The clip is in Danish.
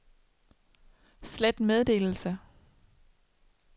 slet meddelelse